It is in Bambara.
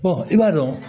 i b'a dɔn